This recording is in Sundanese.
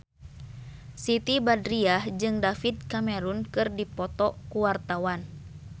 Siti Badriah jeung David Cameron keur dipoto ku wartawan